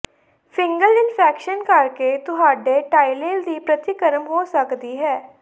fungal infection ਕਰਕੇ ਤੁਹਾਡੇ ਟਾਇਲੇਲ ਦੀ ਪ੍ਰਤੀਕਰਮ ਹੋ ਸਕਦੀ ਹੈ